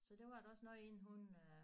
Så det varer da også noget inden hun øh